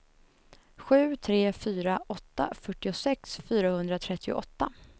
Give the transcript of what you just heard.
sju tre fyra åtta fyrtiosex fyrahundratrettioåtta